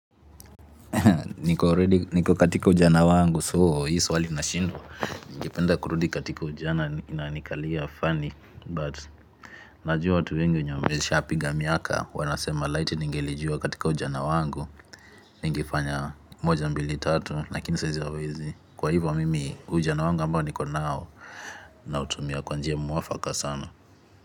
Niko katika ujana wangu so hii swali nashindwa. Ningependa kurudi katika ujana ina nikalia fani but najua watu wengi wenye wameshapiga miaka wanasema light ningelijua katika ujana wangu. Ningefanya moja mbili tatu lakini saa hizi hawezi. Kwa hivyo mimi ujana wangu ambao niko nao na utumia kwa njia muafaka sana.